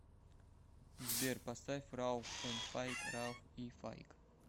сбер поставь рауф энд файк рауф и файк